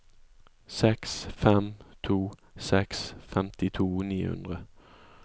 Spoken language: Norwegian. seks fem to seks femtito ni hundre